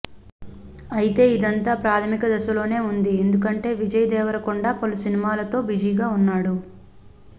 అయితే ఇదంతా ప్రాధమిక దశలోనే ఉంది ఎందుకంటే విజయ్ దేవరకొండ పలు సినిమాలతో బిజీ గా ఉన్నాడు